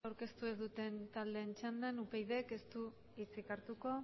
jauna zuzenketarik aurkeztu ez duten taldeen txandan upydk ez du hitzik hartuko